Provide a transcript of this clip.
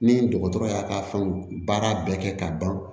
Ni dɔgɔtɔrɔ y'a ka fɛn baara bɛɛ kɛ ka ban